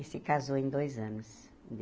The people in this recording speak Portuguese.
E se casou em dois anos.